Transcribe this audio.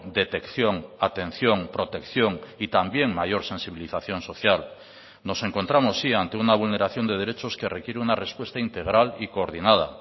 detección atención protección y también mayor sensibilización social nos encontramos sí ante una vulneración de derechos que requiere una respuesta integral y coordinada